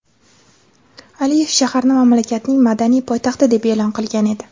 Aliyev shaharni mamlakatning madaniy poytaxti deb e’lon qilgan edi.